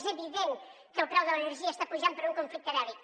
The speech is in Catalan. és evident que el preu de l’energia està pujant per un conflicte bèl·lic